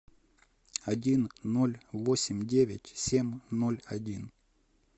один ноль восемь девять семь ноль один